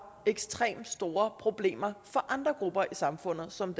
ekstremt store problemer for andre grupper i samfundet som